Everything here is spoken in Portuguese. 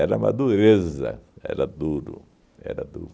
uma dureza, era duro, era duro.